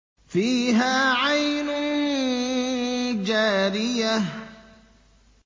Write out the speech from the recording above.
فِيهَا عَيْنٌ جَارِيَةٌ